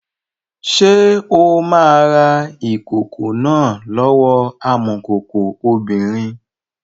Ṣé o máa ra ìkòkò náà lọ́wọ́ amọ̀kòkò obìnrin?